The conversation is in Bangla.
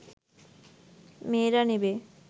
মেয়েরা নেবে